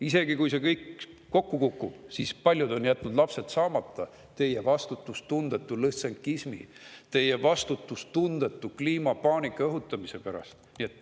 Isegi kui see kõik kokku kukub, siis paljud on jätnud lapsed saamata teie vastutustundetu lõssenkismi, teie vastutustundetu kliimapaanika õhutamise pärast.